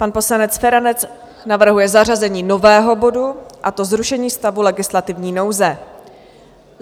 Pan poslanec Feranec navrhuje zařazení nového bodu, a to Zrušení stavu legislativní nouze.